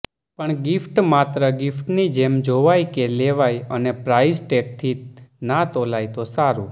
પણ ગીફ્ટ માત્ર ગીફ્ટની જેમ જોવાય કે લેવાય અને પ્રાઇઝ ટેગથી ના તોલાય તો સારું